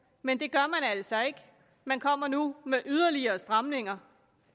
men det gør man altså ikke man kommer nu med yderligere stramninger